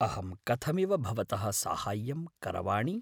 अहं कथमिव भवतः साहाय्यं करवाणि?